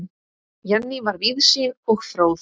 Jenný var víðsýn og fróð.